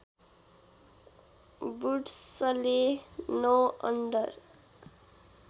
वुड्सले ९ under